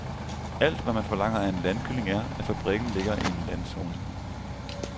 Alt, hvad man forlanger af en landkylling, er, at fabrikken ligger i en landzone.